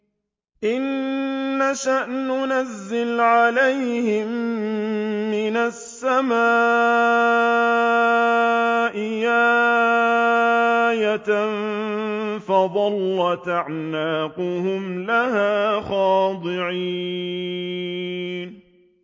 إِن نَّشَأْ نُنَزِّلْ عَلَيْهِم مِّنَ السَّمَاءِ آيَةً فَظَلَّتْ أَعْنَاقُهُمْ لَهَا خَاضِعِينَ